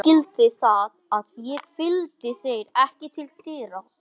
Þú skildir það að ég fylgdi þér ekki til dyra.